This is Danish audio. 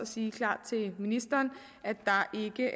siger klart til ministeren at der ikke